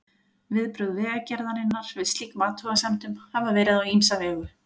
Viðbrögð Vegagerðarinnar við slíkum athugasemdum hafa verið á ýmsa vegu.